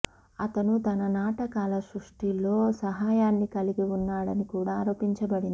అతను తన నాటకాల సృష్టిలో సహాయాన్ని కలిగి ఉన్నాడని కూడా ఆరోపించబడింది